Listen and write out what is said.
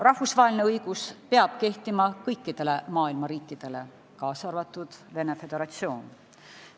Rahvusvaheline õigus peab kehtima kõikide maailma riikide, kaasa arvatud Venemaa Föderatsiooni kohta.